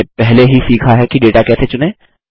हमने पहले ही सीखा है कि डेटा कैसे चुनें